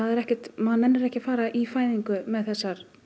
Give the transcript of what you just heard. maður vill ekki fara í fæðingu með þessar